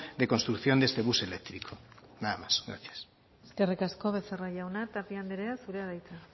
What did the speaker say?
de construcción de este bus eléctrico nada más gracias eskerrik asko becerra jauna tapia andrea zurea da hitza